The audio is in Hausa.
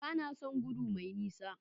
Ba na son gudu mai nisa.